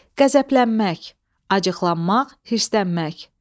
Qəzəblənmək, acıqlanmaq, hirsənmək.